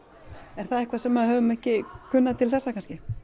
er það eitthvað sem við höfum ekki kunnað til þessa kannski